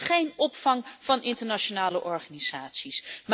Er is geen opvang van internationale organisaties.